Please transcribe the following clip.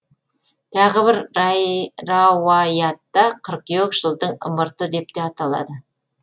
тағы бір рауаятта қыркүйек жылдың ымырты деп те аталады